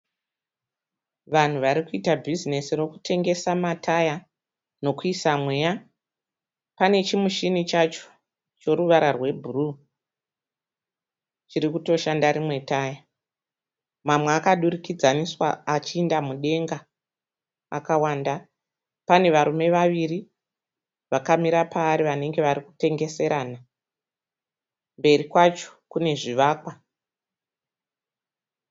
Vanhu varikuita bhizinesi rekutengesa mataya nekuisa mweya. Pane chimushini chacho choruvara rwebhuruu chirikutoshanda rimwe taya. Mamwe akadurikidzana achienda mudenga akawanda. Panevarume vaviri vakamira paari vanenge varikutengeserana. Mberi kwacho kune zvivakwa.